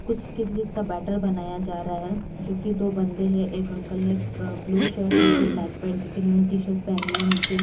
कुछ किसी चीज का बैटर बनाया जा रहा है जो कि दो बंदे हैं एक अंकल ने ब्लू शर्ट नीचे ब्लैक पैंट एक इन्होंने टी-शर्ट पहनी है नीचे--